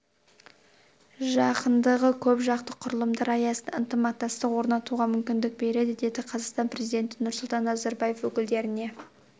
жақындығы көп жақты құрылымдар аясында ынтымақтастық орнатуға мүмкіндік береді деді қазақстан президенті нұрсұлтан назарбаев өкілдеріне